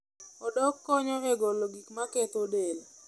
Odok konyo e golo gik maketho del.